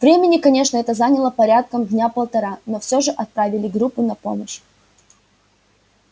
времени конечно это заняло порядком дня полтора но всё же отправили группу на помощь